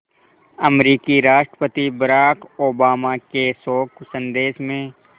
अमरीकी राष्ट्रपति Barack Obama के शोक संदेश में